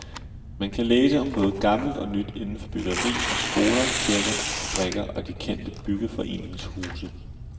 Man kan læse om både gammelt og nyt indenfor byggeri af skoler, kirker, fabrikker og de kendte byggeforeningshuse.